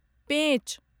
पेंच